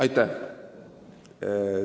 Aitäh!